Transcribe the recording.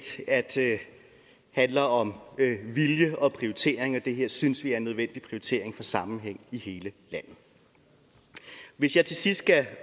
handler om vilje og prioritering og det her synes vi er en nødvendig prioritering for sammenhæng i hele landet hvis jeg til sidst skal